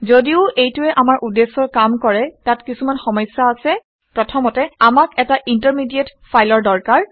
ঘদিও এইটোৱে আমাৰ উদ্দেশ্যৰ কাম কৰে তাত কিছুমান সমস্যা আছে। প্ৰথমতে আমাক এটা ইন্টাৰমিডিয়েট ফাইলৰ দৰকাৰ